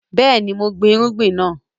Yes, I planted the crop